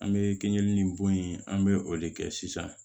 An bɛ keninke ni bon in an bɛ o de kɛ sisan